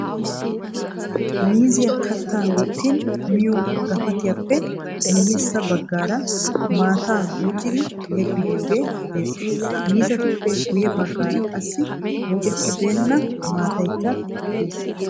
Miizzay katta wottin miyiyo gapattiyappe miyyesa baggaara maatta buuccidi yeggidooge de"ees. Miizzatuppe guyye baggaara qassi buucceri beena mataykka de'ees .